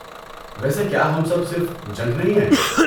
ویسے کیا ہم سب صرف جنک نہیں ہیں؟